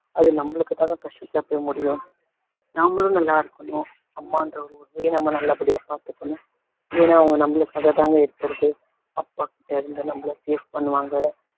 அது நம்மளுக்கு தாங்க கஷ்டத்துல போய் முடியும் நம்மளும் நல்லாயிருக்கனும் அம்மான்றவங்களையும் நம்ம நல்லபடியா பாத்துக்கணும் ஏன்னா அவங்க நம்மளுக்காக தாங்க இருக்கறதே அப்பா கிட்டருந்து நம்மள safe பண்ணுவாங்க